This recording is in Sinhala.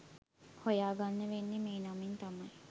හොයා ගන්න වෙන්නේ මේ නමින් තමයි.